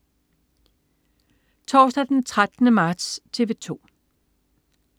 Torsdag den 13. marts - TV 2: